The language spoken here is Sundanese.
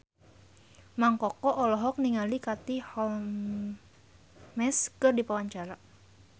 Mang Koko olohok ningali Katie Holmes keur diwawancara